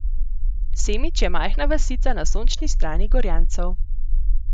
Semič je majhna vasica na sončni strani Gorjancev.